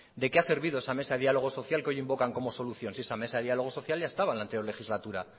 de qué ha servido esa mesa de diálogo social que hoy invocan como solución si esa mesa de diálogo social ya estaba en la anterior legislatura